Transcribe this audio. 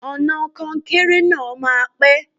Ọ̀nà kọnkéré náà máa pẹ́.